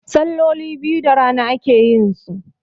salloli biyu da rana ake yinsu